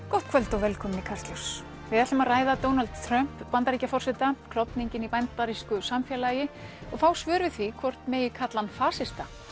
gott kvöld og velkomin í Kastljós við ætlum að ræða Donald Trump Bandaríkjaforseta klofninginn í bandarísku samfélagi og fá svör við því hvort megi kalla hann fasista